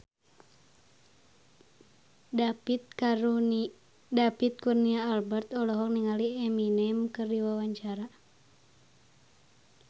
David Kurnia Albert olohok ningali Eminem keur diwawancara